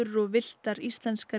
og villtar íslenskar